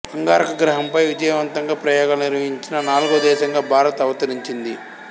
అంగారక గ్రహంపై విజయవంతంగా ప్రయోగాలు నిర్వహించిన నాలుగో దేశంగా భారత్ అవతరించింది